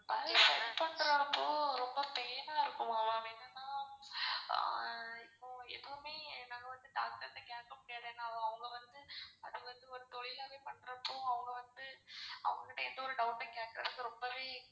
பல்லு set பண்ற அப்போ ரொம்ப pain ஆ இருக்குமா ma'am? என்னனா ஆஹ் இப்போ எதுமே நம்ம வந்து doctor கிட்ட கேக்க முடியாது ஏனா அவங்க வந்து அத வந்து ஒரு தொழில் ஆவே பண்ற அப்போ அவங்க வந்து அவங்க கிட்ட எந்த ஒரு doubt ம் கேக்குறதுக்கு ரொம்பவே.